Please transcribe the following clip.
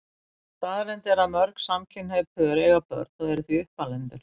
Staðreynd er að mörg samkynhneigð pör eiga börn og eru því uppalendur.